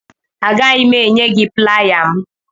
Agaghị m enye gị playa m.